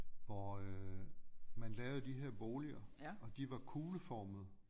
Hvor øh man lavede de her boliger og de var kugleformede